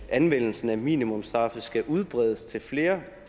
anvendelsen af minimumsstraffe skal udbredes til flere